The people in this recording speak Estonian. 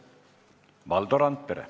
Valdo Randpere.